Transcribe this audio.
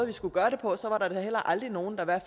vi skulle gøre det på så var der da heller aldrig nogen der